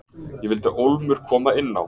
Ég vildi ólmur koma inn á.